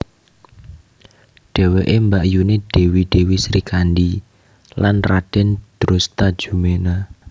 Dheweke mbakyuné Dèwi Dèwi Srikandhi lan Radèn Drustajumena